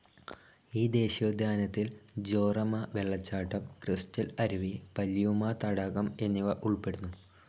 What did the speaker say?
ഈ ദേശീയോദ്യാനത്തിൽ ജോറമ വെള്ളച്ചാട്ടം, ക്രിസ്റ്റൽ അരുവി, പല്യൂമ തടാകം എന്നിവ ഉൾപ്പെടുന്നു.